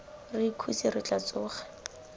re ikhutse re tla tsoga